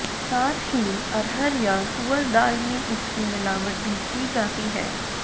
साथ ही अरहर या तुअर दाल में इसकी मिलावट भी की जाती है